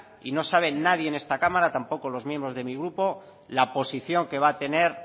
y no sabe nadie en esta cámara tampoco los miembros de mi grupo la posición que va a tener